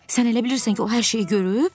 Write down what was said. Sən elə bilirsən ki, o hər şeyi görüb?